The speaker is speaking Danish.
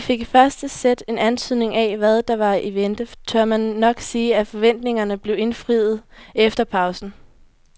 Fik vi i første sæt en antydning af hvad der var i vente, tør man nok sige at forventningerne blev indfriet efter pausen.